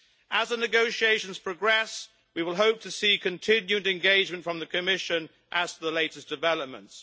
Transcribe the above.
As the negotiations progress we will hope to see continued engagement from the Commission as to the latest developments.